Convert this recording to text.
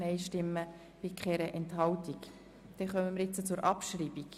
Wir kommen zur Frage der Abschreibung.